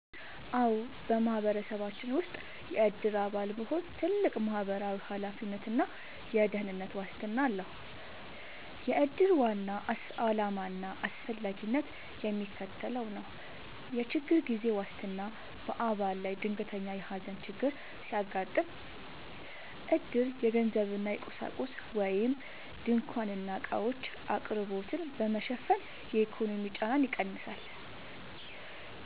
አዎ፣ በማህበረሰባችን ውስጥ የዕድር አባል መሆን ትልቅ ማህበራዊ ኃላፊነትና የደህንነት ዋስትና ነው። የዕድር ዋና ዓላማና አስፈላጊነት የሚከተለው ነው፦ የችግር ጊዜ ዋስትና፦ በአባል ላይ ድንገተኛ የሐዘን ችግር ሲያጋጥም፣ ዕድር የገንዘብና የቁሳቁስ (ድንኳንና ዕቃዎች) አቅርቦትን በመሸፈን የኢኮኖሚ ጫናን ይቀንሳል።